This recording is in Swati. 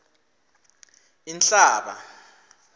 inhlaba